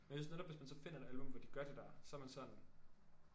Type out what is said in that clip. Og jeg synes netop hvis man så finder et album hvor de gør det der så er man sådan